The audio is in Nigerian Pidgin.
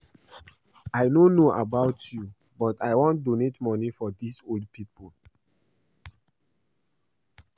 I no know about you but I wan donate money for dis old people